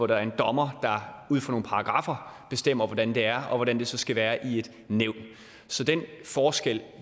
der er en dommer der ud fra nogle paragraffer bestemmer hvordan det er og hvordan det så skal være i et nævn så den forskel